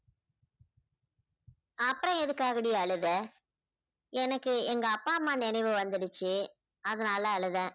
அப்பறம் எதுக்காகடி அழுத எனக்கு எங்க அப்பா அம்மா நினைவு வந்துடுச்சு அதுனால அழுதேன்.